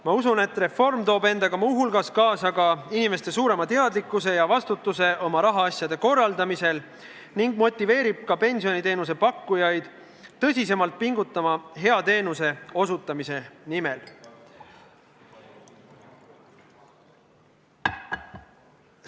Ma usun, et reform toob endaga muu hulgas kaasa inimeste suurema teadlikkuse ja vastutuse oma rahaasjade korraldamisel ning motiveerib ka pensioniteenuse pakkujaid hea teenuse osutamise nimel tõsisemalt pingutama.